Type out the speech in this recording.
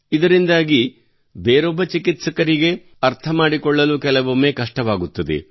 ಇದರಿಂದಾಗಿ ಬೇರೊಬ್ಬ ಚಿಕಿತ್ಸಕರಿಗೆ ಅರ್ಥ ಮಾಡಿಕೊಳ್ಳಲು ಕೆಲವೊಮ್ಮೆ ಕಷ್ಟವಾಗುತ್ತದೆ